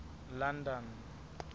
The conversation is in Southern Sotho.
london